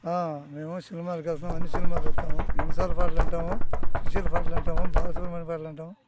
ఆ మేము సినిమా కి చూస్తా అన్నీ సినిమాలు చూస్తారు నిమిషాల పాటలు వింటాం సుశీల్ పాటలు వింటాం బాల కృష్ణ పాటలు వినటం.